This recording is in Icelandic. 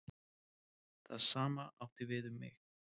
Það sama átti við um mig.